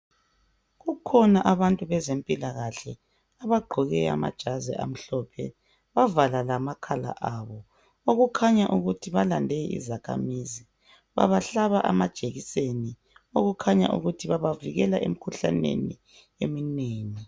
Kukhona abantu bezempilakahle abagqoke amajazi amhlophe , bavala lamakhala abo okukhanya ukuthi balande izakhamizi , babahlaba amajekiseni okukhanya ukuthi babavikela emkhuhlaneni eminengi